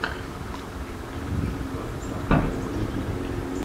шугар кап в ютубе